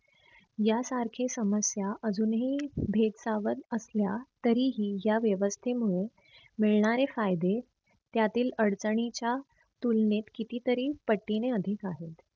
या सारखे समस्या अजूनही भेदसावत असल्या तरीही या व्यवस्थेमुळे मिळणारे फायदे त्यातील अडचणीच्या तुलनेत कितीतरी पटीने अधिक आहे.